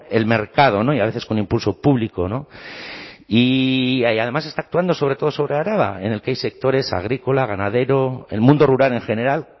el mercado y a veces con impulso público y además está actuando sobre todo sobre araba en el que hay sectores agrícola ganadero el mundo rural en general